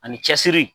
Ani cɛsiri